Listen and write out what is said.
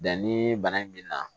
Danni bana in mi na